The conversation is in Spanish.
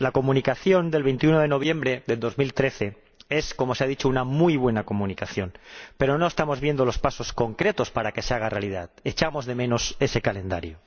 La Comunicación de 25 de noviembre de 2013 es, como se ha dicho, una muy buena Comunicación, pero no estamos viendo los pasos concretos para que se haga realidad echamos de menos ese calendario.